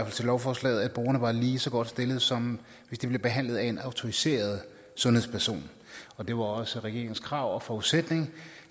til lovforslaget at brugerne var lige så godt stillet som hvis de blev behandlet af en autoriseret sundhedsperson og det var også regeringens krav og forudsætning